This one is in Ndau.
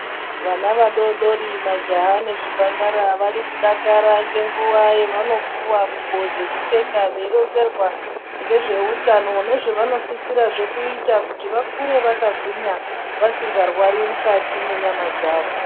Vana vadoodori majaha nezvimhandara varikudakara ngenguwa yevanopuwa ngubo dzekupfeka, veironzerwa ngezveutano nezvevanosisirazve kuita, kuti vakure vakagwinya, vasingarwari mukati mwenyama dzavo.